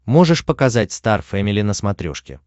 можешь показать стар фэмили на смотрешке